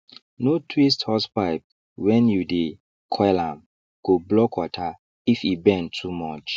no twist hosepipe when you dey coil ame go block water if e bend too much